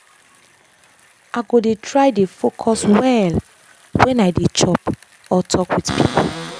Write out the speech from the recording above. i go dey try dey focus well when i dey chop or talk with people.